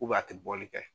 a tɛ bɔli kɛ